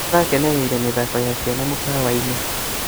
Nĩtũrakenereire mĩthako ya ciana mũkawa-inĩ